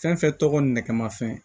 Fɛn fɛn tɔgɔ nɛgɛmafɛn